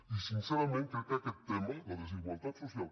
i sincerament crec que aquest tema la desigualtat social